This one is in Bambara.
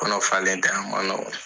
Kɔnɔ falenlen diɔn